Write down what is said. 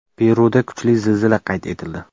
Peruda kuchli zilzila qayd etildi.